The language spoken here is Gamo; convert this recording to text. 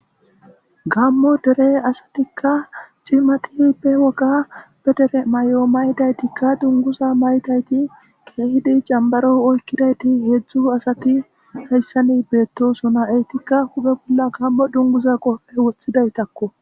Gamo dere asatika c'imati be woga be dere mayo ma'idaytikka dunguza mayiditika kehidi xambaro oykidayti hedzu asati haysani betosona etika huphe bola gamo dunguza qobe wotidaytakko.